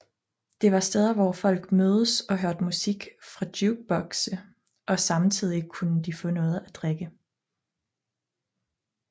Det var steder hvor folk mødes og hørte musik fra jukebokse og samtidig kunne de få noget at drikke